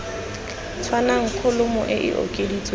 tshwanang kholomo e e okeditsweng